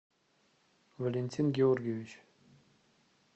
валентин георгиевич